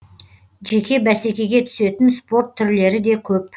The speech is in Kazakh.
жеке бәсекеге түсетін спорт түрлері де көп